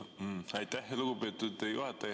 Aitäh, lugupeetud juhataja!